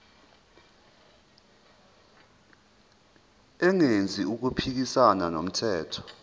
engenzi okuphikisana nomthetho